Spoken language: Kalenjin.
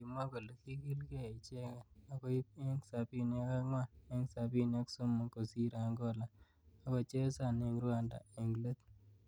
Kimwa kole kikilkei. icheket akoib eng sabini ak angwan eng sabini ak somok kosir Angola akochesan eng Rwanda eng let.